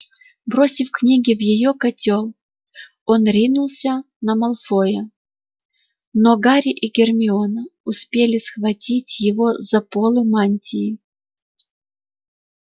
бросив книги в её котёл он ринулся на малфоя но гарри и гермиона успели схватить его за полы мантии